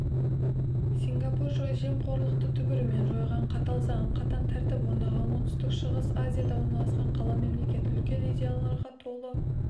сингапур жемқорлықты түбірімен жойған қатал заң қатаң тәртіп орнаған оңтүстік-шығыс азияда орналасқан қала-мемлекет үлкен идеяларға толы